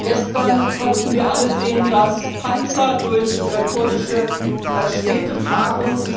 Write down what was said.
Gestern konnten wir alle sehen, dass Panzer durch kurdische Städte fahren.